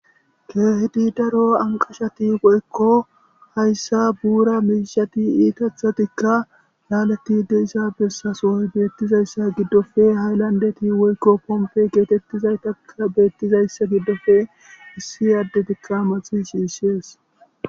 keehidi daro anqashati woykko hayssa buura miishati iitathatikka laalatide isa bessasoy beettizayssa giddofe hayllandeti woykko pompe geetettizaytakka beettizayssa giddofe issi aaddetikka maxi shiishees